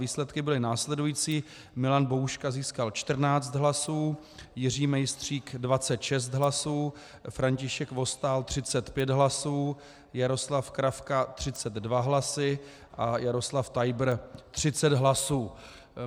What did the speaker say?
Výsledky byly následující: Milan Bouška získal 14 hlasů, Jiří Mejstřík 26 hlasů, František Vostál 35 hlasů, Jaroslav Kravka 32 hlasy a Jaroslav Tajbr 30 hlasů.